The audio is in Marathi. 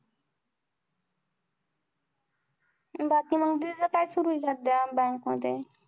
बाकी मग दीदी काय सुरु आहे सध्या bank मध्ये